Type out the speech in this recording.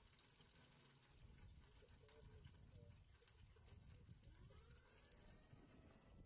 Slíkar staðalmyndir draga aðeins að litlu leyti upp rétta mynd af áfengisneyslu þjóða.